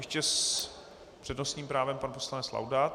Ještě s přednostním právem pan poslanec Laudát.